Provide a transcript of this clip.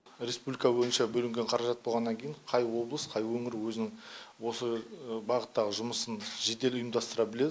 республика бойынша бөлінген қаражат болғаннан кейін қай облыс қай өңір өзінің осы бағыттағы жұмысын жедел ұйымдастыра білет